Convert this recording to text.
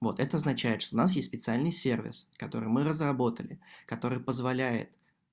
вот это означает что у нас есть специальный сервис с которым мы разработали который позволяет